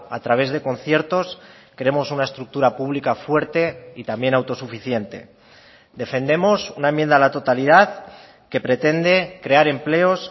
a través de conciertos queremos una estructura pública fuerte y también autosuficiente defendemos una enmienda a la totalidad que pretende crear empleos